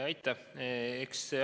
Aitäh!